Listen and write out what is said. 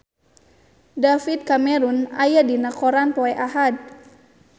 David Cameron aya dina koran poe Ahad